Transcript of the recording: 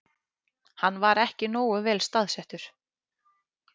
Hann var ekki nógu vel staðsettur